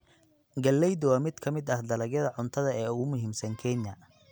Galleydu waa mid ka mid ah dalagyada cuntada ee ugu muhiimsan Kenya.